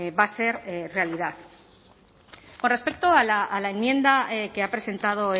va a ser realidad con respecto a la enmienda que ha presentado